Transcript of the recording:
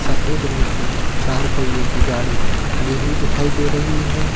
सफेद रंग की चार पहिए की गाड़ी खड़ी हुई दिखाई दे रही है।